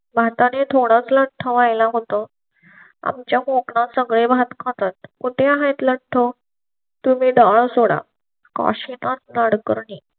भारताने थोडासा लठ्ठ वायला होतो. आमच्या कोकणा सगळे भात खातात कुठे आहेत लठ्ठ तो तुम्ही डाळ सोडा काशिनाथ नाडकर्णी.